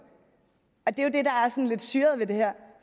lidt syret ved det her